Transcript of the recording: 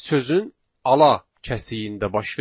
Sözün ala kəsiyində baş verir.